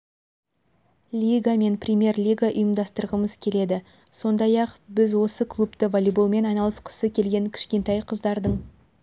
лига мен премьер лига ұйымдастырғымыз келеді сондай-ақ біз осы клубты волейболмен айналысқысы келген кішкентай қыздардың